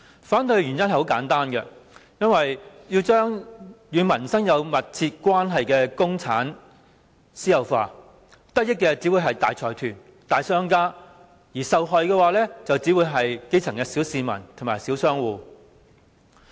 反對的原因很簡單，因為把與民生有密切關係的公共資產私有化，得益的只會是大財團、大商家，而受害的只會是基層市民與小商戶。